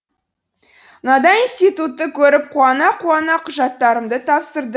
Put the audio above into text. мынадай институтты көріп қуана қуана құжаттарымды тапсырды